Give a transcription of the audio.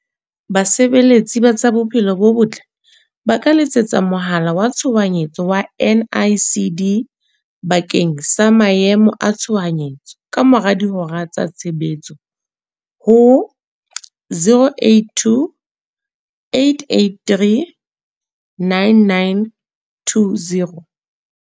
Basebeletsi ba tsa Bophelo bo Botle ba ka letsetsa mohala wa Tshohanyetso wa NICD bakeng sa maemo a tshohanyetso kamora dihora tsa tshebetso ho, 082 883 9920.